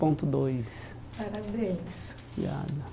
Ponto dois parabéns. Obrigada